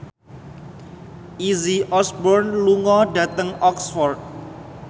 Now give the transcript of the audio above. Izzy Osborne lunga dhateng Oxford